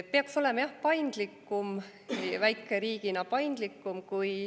Peaks olema jah väikeriigina paindlikum.